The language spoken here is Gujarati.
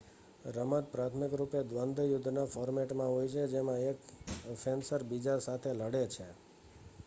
રમત પ્રાથમિક રૂપે દ્વન્દ્વ યુદ્ધના ફૉર્મેટમાં હોય છે જેમાં એક ફેન્સર બીજા સાથે લડે છે